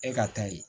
E ka taa yen